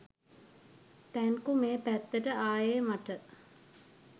thank you මේ පැත්තට ආයේ මට